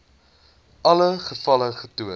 alle gevalle getoon